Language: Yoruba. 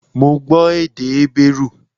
Mo gbọ́ èdè Hébérù